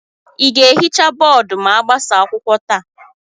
ị ga-ehicha bọọdụ ma agbasaa akwụkwọ taa?